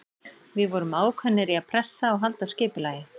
Við vorum ákveðnir í að pressa og halda skipulagi.